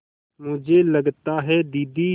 मुझे लगता है दीदी